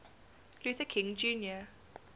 luther king jr